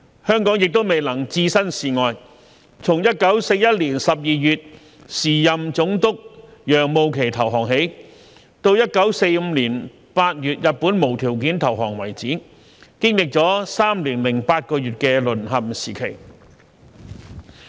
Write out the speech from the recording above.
香港亦未能置身事外，從1941年12月時任總督楊慕琦投降起，直至1945年8月日本無條件投降為止，經歷了3年8個月的"淪陷時期"。